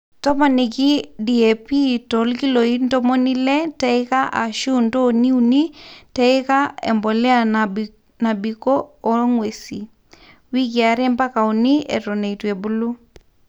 toponiki DAP to ilkiloi ntomoni ile teika ashu ntonii uni teika e mbolea natobiko o nguesi, wiki are mpaka uni eton eitu ebulu